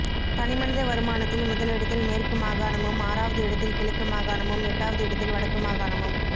தனிமனித வருமானத்தில் முதலிடத்தில் மேற்கு மாகாணமும் ஆறாவது இடத்தில் கிழக்கு மாகாணமும் எட்டாவது இடத்தில் வடக்கு மாகாணமும்